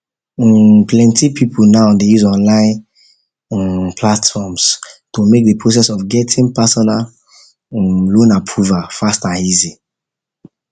um plenty people now dey use online um platforms to make the process of getting personal um loan approval fast and easy